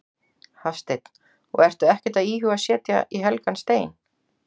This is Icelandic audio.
Hafsteinn: Og ertu ekkert að íhuga að setja í helgan stein?